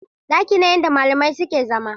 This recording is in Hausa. Ɗakin ne inda malamai suke zama.